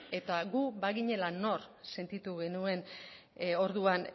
eta guk baginela nor sentitu genuen orduan